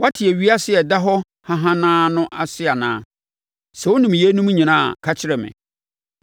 Woate ewiase a ɛda hɔ hahanaa no ase anaa? Sɛ wonim yeinom nyinaa a, ka kyerɛ me.